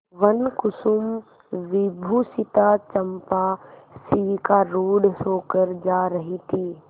वनकुसुमविभूषिता चंपा शिविकारूढ़ होकर जा रही थी